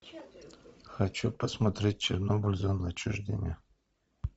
хочу посмотреть чернобыль зона отчуждения